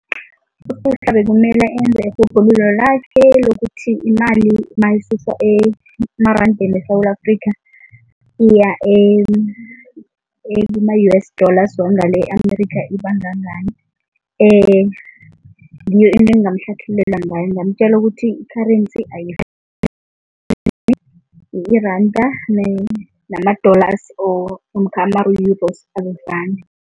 USuhla bekumele enza irhubhululo lakhe lokuthi imali mayisuswa emarandeni weSewula Afrika iya kuma-U_S wangale e-America ibangangani, ngiyo into engingamhlathululela ngayo. Ngingamtjela ukuthi i-currency iranda nama-dollars or namkha azifani.